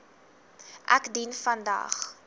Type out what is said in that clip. ek dien vandag